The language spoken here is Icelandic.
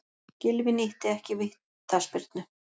Gylfi nýtti ekki vítaspyrnu